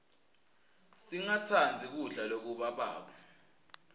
singatsandzi kudla lokubabako